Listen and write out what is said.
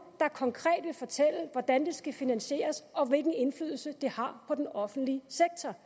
der konkret vil fortælle hvordan det skal finansieres og hvilken indflydelse det har på den offentlige sektor